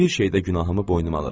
Bir şeydə günahımı boynuma alıram.